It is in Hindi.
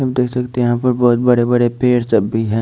हम दे सकते हैं यहां पर बहोत बड़े बड़े पेड़ हैं।